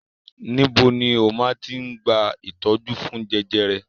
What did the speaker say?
Níbo ni ó máa ti gba ìtọ́jú fún jẹjẹrẹ?